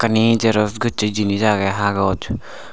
eyani Xerox goche jinich agee hagoch.